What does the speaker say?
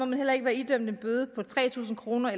man heller ikke være idømt en bøde på tre tusind kroner